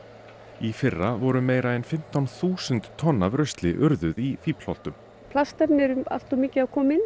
í fyrra voru meira en fimmtán þúsund tonn af rusli urðuð í Fíflholtum plastefni eru allt of mikið að koma inn